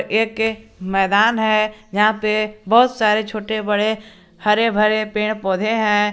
एक मैदान है यहां पे बहोत सारे छोटे बड़े हरे भरे पेड़ पौधे है।